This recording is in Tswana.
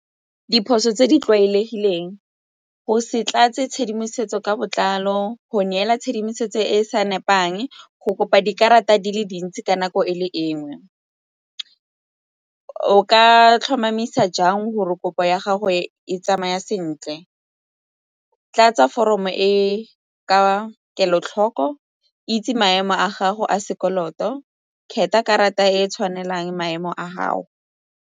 Diphoso tse di tlwaelegileng, go se tlatse tshedimosetso ka botlalo go neela tshedimosetso e e sa nepang, go kopa dikarata di le dintsi ka nako e le nngwe. O ka tlhomamisa jang gore kopo ya gago e tsamaya sentle? Tlatsa foromo e ka kelotlhoko, itse maemo a gago a sekoloto kgetha karata e tshwanelang maemo a gao.